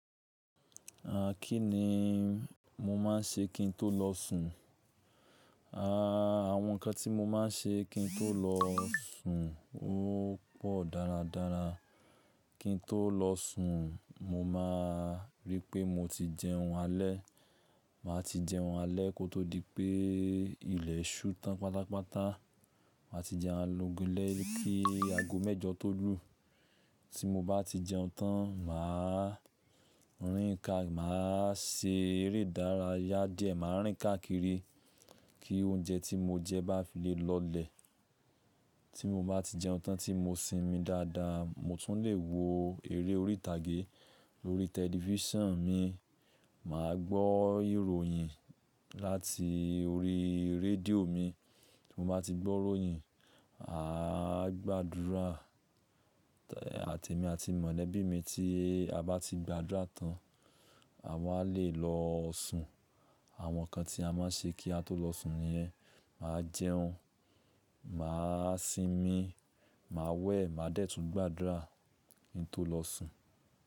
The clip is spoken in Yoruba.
À kí ni mo máa ń ṣe kí n tó lọ sùn? À, àwọn ǹkan tí mo máa ń ṣe kí n tó lọ sùn ó pọ̀ dáradára. Kí n tó lọ sùn, mo máa rí pé mo ti jẹun alẹ́. Màá ti jẹun alẹ́ kó tó di pé ilẹ̀ ṣú tán pátápátá. Màá ti jẹ alogolẹ́ri kí ago mẹ́jọ tó lù. Tí mo bá ti jẹun tán, màá rìn ká, màá ṣe eré ìdárayá díẹ̀, màá rìn ká kiri kí oúnjẹ tí mo jẹ bá fi lè lọlẹ̀. Tí mo bá ti jẹun tán tí mo sinmi dáadáa, mo tún lè wo eré orí ìtàgé lórí tẹlifíṣàn mi, màá gbọ́ ìròyìn láti orí radio mi. Tí mo bá ti gbọ́ ìròyìn, a á gbàdúrà, àti èmi àti mọ̀lẹ́bí mi tí a bá ti gbàdúrà tán, àwa lè lọ sùn. Àwọn nǹkan tí a máa ń ṣe kí a tó lọ sùn nìyẹn. Màá jẹun, màá sinmi, màá wẹ̀, màá de tún gbàdúrà kí n tó lọ sùn.